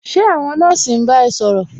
Ṣé àwọn nọ́ọ̀sì ń bá ẹ ṣòrọ̀?